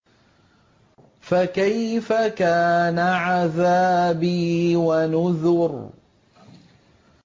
فَكَيْفَ كَانَ عَذَابِي وَنُذُرِ